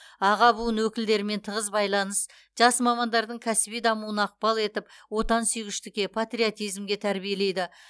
аға буын өкілдерімен тығыз байланыс жас мамандардың кәсіби дамуына ықпал етіп отансүйгіштікке патриотизмге тәрбиелейді